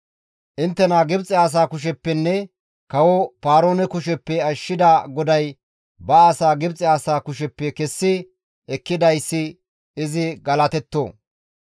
«Inttena Gibxe asaa kusheppenne kawo Paaroone kusheppe ashshida GODAY ba asaa Gibxe asaa kusheppe kessi ekkidayssi izi galatetto.